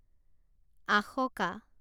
Ashoka